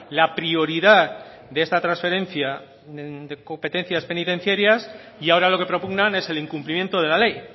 la prioridad de esta transferencia de competencias penitenciarias y ahora lo que propugnan es el incumplimiento de la ley